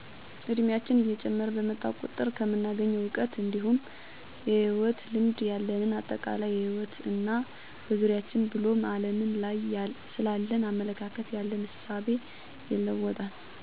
እድሜያችን እየጨመረ በመጣ ቁጥር ከምናገኘው እውቀት እንዲሁም የህይወት ልምድ፤ ያለንን አጠቃላይ የህይወት እና በዙሪያችን ብሎም አለም ላይ ስላለን አመለካከት ያለንን እሳቤ ይለወጣል። አስተዳደጋችን እንዳደግንበት አካባቢ አስተሳሰባችንን በመልካም ወይም በመጥፎ ተፅዕኖ ያሳድርብናል፤ እራሳችንን ካልገዛን እና መልካሙን ካልመረጥን ወደ ፊታችንን ሊያበላሽ የሚችል ተፅዕኖ ሊያድርብን ይችላል።